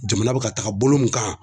Jamana bɛ ka taga bolo min kan.